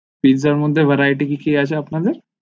pizz এর মধ্যে varieties কিছু আছে আপনাদের